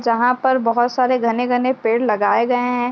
जहाँ पर बहुत सारे घने-घने पेड़ लगाए गए हैं।